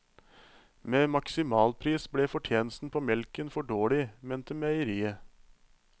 Med maksimalpris ble fortjenesten på melken for dårlig, mente meieriet.